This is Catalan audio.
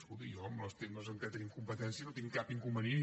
escolti jo en els temes en què tenim competència no tinc cap inconvenient